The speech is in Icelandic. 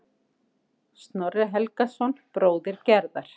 Snorri Helgason, bróðir Gerðar.